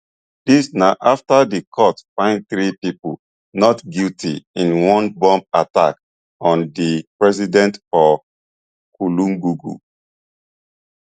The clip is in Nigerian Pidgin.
dis na afta di court find three pipo not guilty in one bomb attack on di president for kulungugu